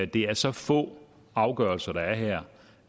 det er så få afgørelser der er her